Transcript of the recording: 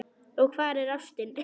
Og hvar er ástin?